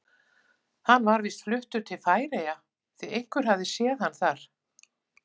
Hann var víst fluttur til Færeyja því einhver hafði séð hann þar.